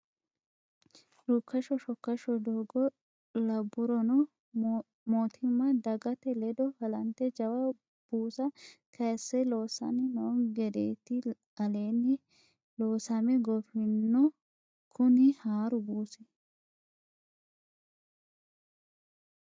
Rukkasho shokkasho doogo labburono mootimma dagate ledo halante jawa buusa kayise loossani no gedeti aleeni loosame goofino kuni haaru buusi.